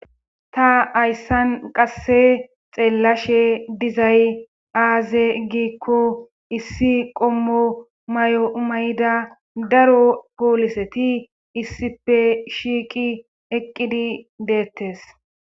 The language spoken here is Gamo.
ta hayssan qasse xeellashe dizay aaze giikko issi qommo mayo mayda daro pooliseti issipe shiiqi eqqidi deettes